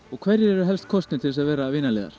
og hverjir eru helst kosnir til að vera